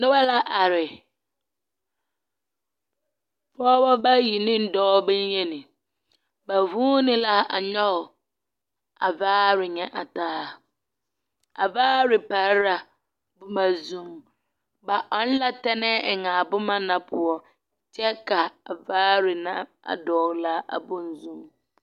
Noba la are. Pͻgebͻ bayi ne dͻͻ boŋyeni. Ba zuuni la a nyͻge a vaare nyԑ a taa. A vaare pare la boma zuiŋ. Ba ͻŋ la tԑmԑԑ eŋ a boma na poͻ kyԑ ka a vaare na a dogele a bonzuiŋ.